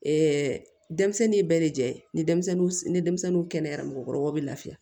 denmisɛnnin bɛɛ de jɛ ni denmisɛnnin ni denmisɛnninw kɛnɛyara mɔgɔkɔrɔbaw bɛ lafiya